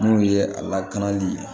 N'u ye a lakanali ye